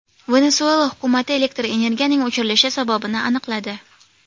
Venesuela hukumati elektr energiyaning o‘chirilishi sababini aniqladi.